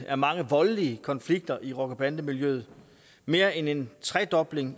af meget voldelige konflikter i rocker bande miljøet mere end en tredobling